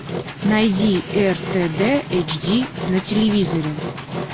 найди ртд эйч ди на телевизоре